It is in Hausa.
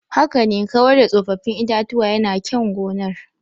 Haka ne, kawar da tsofaffin itatuwa yana kyan gonar.